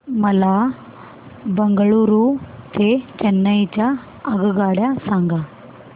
मला बंगळुरू ते चेन्नई च्या आगगाड्या सांगा